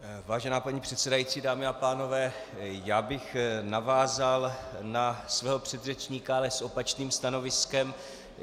Vážená paní předsedající, dámy a pánové, já bych navázal na svého předřečníka, ale s opačným stanoviskem.